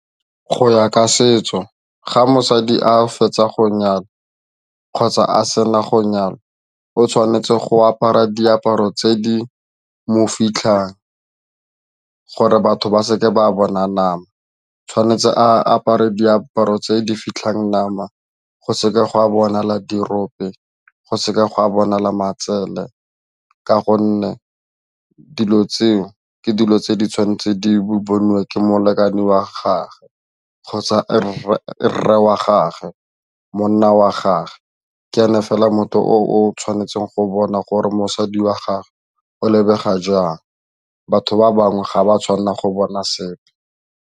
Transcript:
Go ya ka setso ga mosadi a fetsa go nyalwa kgotsa a sena go nyalwa o tshwanetse go apara diaparo tse di mo fitlhang gore batho ba seke ba bona nama, tshwanetse a apare diaparo tse di fitlhang nama go seka go a bonala dirope go seka go a bonala matsele ka gonne dilo tseo ke dilo tse di tshwanetseng di boniwe ke molekane wa gagwe kgotsa rre wa gage, monna wa gage, ke ene fela motho o tshwanetseng go bona gore mosadi wa gagwe o lebega jang batho ba bangwe ga ba tshwanna go bona sepe.